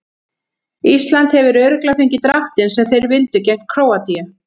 Ísland hefur örugglega fengið dráttinn sem þeir vildu gegn Króatíu.